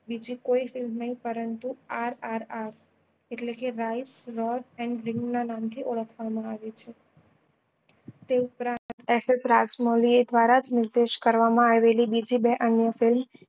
બીજી કોઈ film નહી પરંતુ RRR એટલે કે નાં નામ થી ઓળખવા માં આવે છે તે ઉપરાંત એસ એસ રાજ મોઉલી એ દ્વરક નિર્દેશ કરવા માં આવેલી બીજી બે અન્ય film